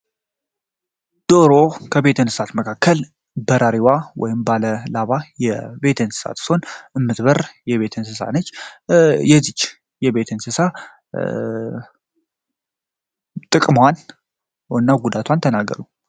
ደሮ ከቤት እንስሳት መካከል በራሪዋ ወይም ደግሞ ባለ ላባ የቤት እንስሳት ስትሆን ምትበር የቤት እንስሳ ነች። የዚች የቤት እንስሳ ጥቅሟን እና ጉዳቷን ተናገሩ?